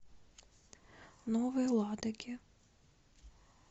новой ладоге